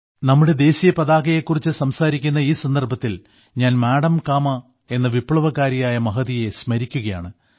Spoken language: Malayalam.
നമ്മുടെ ദേശീയപതാകയെ കുറിച്ച് സംസാരിക്കുന്ന ഈ സന്ദർഭത്തിൽ ഞാൻ മാഡം കാമാ എന്ന വിപ്ലവകാരിയായ മഹതിയെ സ്മരിക്കുകയാണ്